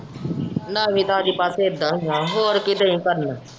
ਨਵੀਂ ਤਾਜ਼ੀ ਬਸ ਇੱਦਾ ਹੀ ਏ ਹੋਰ ਕੀ ਤੂੰ ਹੀ ਕਰਨਾ।